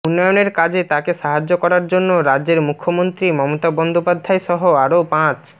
উন্নয়নের কাজে তাঁকে সাহায্য করার জন্য রাজ্যের মুখ্যমন্ত্রী মমতা বন্দ্যোপাধ্যায় সহ আরও পাঁচ